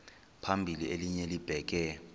phambili elinye libheke